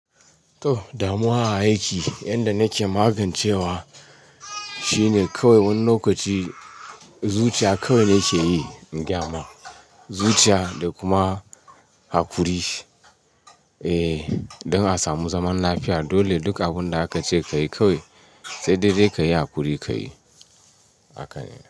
To, damuwa a aiki. Yanda nake magancewa shine kawai wani lokaci zuciya kawai nake yi gya ma. Zuciya da kuma hakuri. Eh, don a samu zaman lafiya. Dole duk abunda aka ce ka yi kawai, sai dai dai ka yi hakuri ka yi.